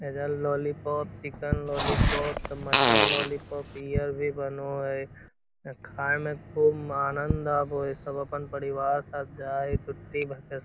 इधर lollipop chicken lollipop त mutton lollipop beer भी बनो है यहाँ खाए में खूब म आनन्द आवे है सब अपन परिवार साथ आये --